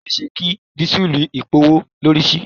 Ó ṣe é ṣe kí dísùlù gbówó lórí si.